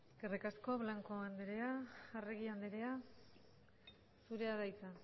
eskerrik asko blanco anderea arregi anderea zurea da hitza